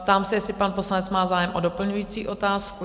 Ptám se, jestli pan poslanec má zájem o doplňující otázku?